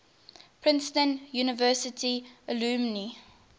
princeton university alumni